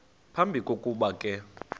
phambi kokuba ke